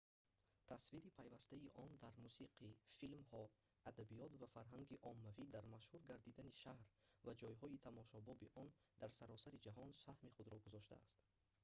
тасвири пайвастаи он дар мусиқӣ филмҳо адабиёт ва фарҳанги оммавӣ дар машҳур гардидани шаҳр ва ҷойҳои тамошобоби он дар саросари ҷаҳон саҳми худро гузоштааст